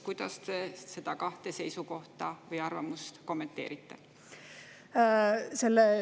Kuidas te neid kahte seisukohta või arvamust kommenteerite?